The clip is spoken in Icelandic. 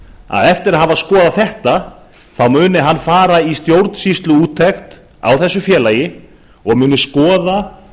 að eftir að hafa skoðað þetta muni hann fara í stjórnsýsluúttekt á þessu félagi og skoða